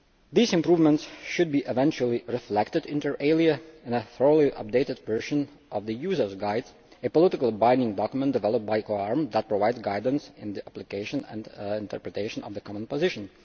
These improvements should eventually be reflected, inter alia, in a fully updated version of the user's guide, a politically binding document developed by COARM that provides guidance in the application and interpretation of the common position.